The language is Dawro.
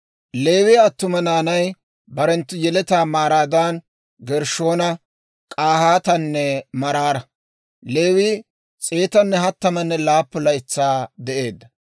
Leewiyaa attuma naanay barenttu yeletaa maaraadan Gershshoona, K'ahaatanne Maraara. Leewii s'eetanne hattamanne laappun laytsaa de'eedda.